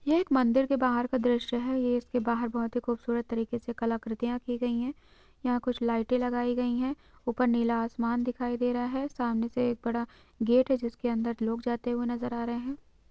यै एक मंदिर के बाहर का दृश्य है यह इसके बाहर बहुत ही खूबसूरत तरीके से कलाकृतियों की गई है यहां कुछ लाइटे लगाई गई है ऊपर नीला आसमान दिखाई दे रहा है सामने से एक बड़ा गेट है जिसके अंदर लोग जाते हुए नजर आ रहे हैं।